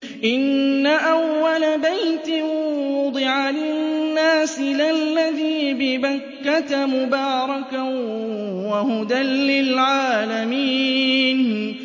إِنَّ أَوَّلَ بَيْتٍ وُضِعَ لِلنَّاسِ لَلَّذِي بِبَكَّةَ مُبَارَكًا وَهُدًى لِّلْعَالَمِينَ